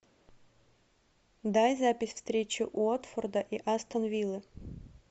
дай запись встречи уотфорда и астон виллы